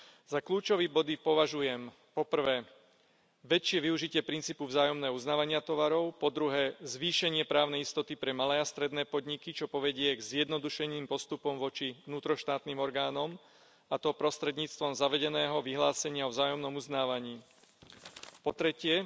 Za kľúčové body považujem, po prvé, väčšie využitie princípu vzájomného uznávania tovarov, po druhé, zvýšenie právnej istoty pre malé a stredné podniky, čo povedie k zjednodušeným postupom voči vnútroštátnym orgánom, a to prostredníctvom zavedeného vyhlásenia o vzájomnom uznávaní, po tretie,